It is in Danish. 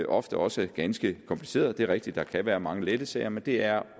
ofte også er ganske komplicerede det er rigtigt at der kan være mange lette sager men det er